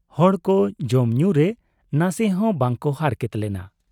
ᱦᱚᱲ ᱠᱚ ᱡᱚᱢ ᱧᱩᱨᱮ ᱱᱟᱥᱮ ᱦᱚᱸ ᱵᱟᱠᱚ ᱦᱟᱨᱠᱮᱛ ᱞᱮᱱᱟ ᱾